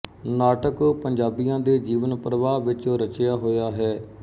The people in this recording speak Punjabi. ਨਾਟਕ ਪੰਜਾਬੀਆਂ ਦੇ ਜੀਵਨ ਪ੍ਰਵਾਹ ਵਿੱਚ ਰਚਿਆ ਹੋਇਆ ਹੈ